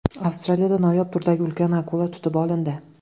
Avstraliyada noyob turdagi ulkan akula tutib olindi .